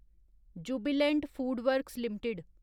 Jubilant FoodWorks limited